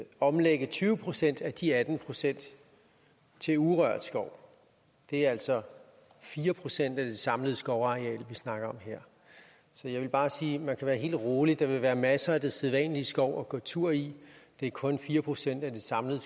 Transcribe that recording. omlægge tyve procent af de atten procent til urørt skov det er altså fire procent af det samlede skovareal vi snakker om her så jeg vil bare sige at man kan være helt rolig der vil være masser af den sædvanlige skov at gå tur i det er kun fire procent af det samlede